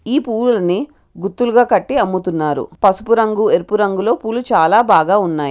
ఈ పువ్వులను గుత్తులుగా కట్టి అమ్ముతున్నారు పసుపు రంగు ఎరుపు రంగులో పూవులు చాలాబాగున్నాయి